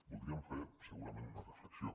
voldríem fer segurament una reflexió